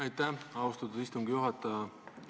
Aitäh, austatud istungi juhataja!